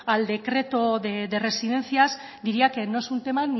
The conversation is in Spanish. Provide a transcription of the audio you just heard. al decreto de residencias diría que no es un tema